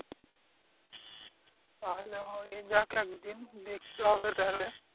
তাহলে হয়ে যাক একদিন দেখতে হবে তাহলে